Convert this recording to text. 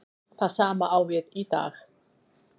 Það sama á við í dag.